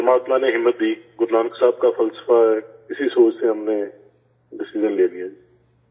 پرماتما نے ہمت دی، گرو نانک صاحب کا فلسفہ ہے، اسی سوچ سے ہم نے فیصلہ لے لیا